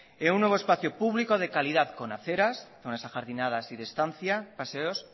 en un nuevo espacio público de calidad con aceras zonas ajardinadas y de estancia paseos